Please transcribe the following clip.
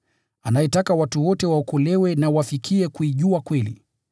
anayetaka watu wote waokolewe na wafikie kuijua kweli.